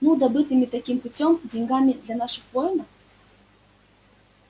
ну добытыми таким путём деньгами для наших воинов